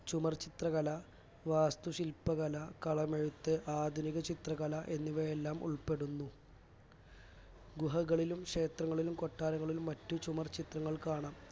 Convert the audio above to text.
ചുമർചിത്രകല വാസ്തുശില്പകല കളമെഴുത്ത് ആധുനികചിത്രകല എന്നിവയെല്ലാം ഉൾപ്പെടുന്നു ഗുഹകളിലും ക്ഷേത്രങ്ങളിലും കൊട്ടാരങ്ങളിലും മറ്റും ചുമർചിത്രങൾ കാണാം